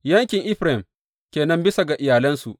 Yankin Efraim ke nan bisa ga iyalansu.